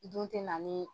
Dun tɛ na ni